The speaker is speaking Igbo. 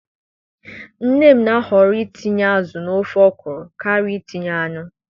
Nne m na-ahoro itinye azụ n'ofe okro karịa itinye anụ